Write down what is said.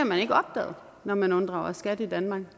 man ikke opdaget når man unddrager skat i danmark